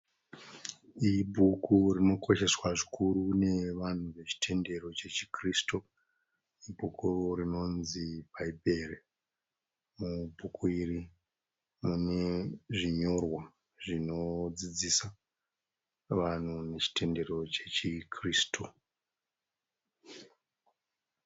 Ibhuku rinokosheswa zvikuru nevanhu vechitendero cheChikirisutu. Ibhuku rinonzi Bhaibheri. Mubhuku iri mune zvinyorwa zvinodzidzisa vanhu nechitendero cheChikirisutu.